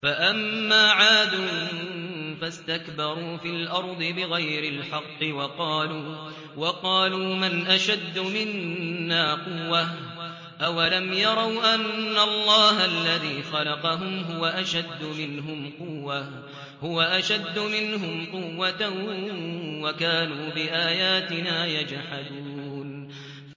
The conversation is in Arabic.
فَأَمَّا عَادٌ فَاسْتَكْبَرُوا فِي الْأَرْضِ بِغَيْرِ الْحَقِّ وَقَالُوا مَنْ أَشَدُّ مِنَّا قُوَّةً ۖ أَوَلَمْ يَرَوْا أَنَّ اللَّهَ الَّذِي خَلَقَهُمْ هُوَ أَشَدُّ مِنْهُمْ قُوَّةً ۖ وَكَانُوا بِآيَاتِنَا يَجْحَدُونَ